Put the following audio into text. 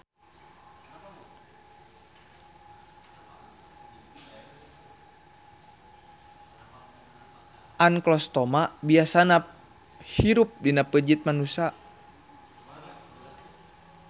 Anklostoma biasana hirup dina peujit manusa.